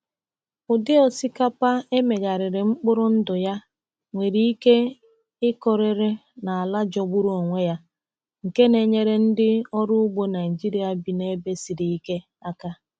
Ụdị osikapa e megharịrị mkpụrụ ndụ ya nwere ike ịkụrịrị na ala jọgburu onwe ya, nke na-enyere ndị ọrụ ugbo Naịjịrịa bi na ebe siri ike aka.